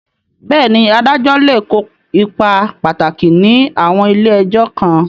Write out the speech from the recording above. Bẹ́ẹ̀ni, adájọ́ lè kó ipa pàtàkì ní àwọn ilé ẹjọ́ kan.